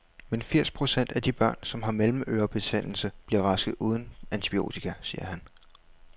Men firs procent af de børn, som har mellemørebetændelse, bliver raske uden antibiotika, siger han.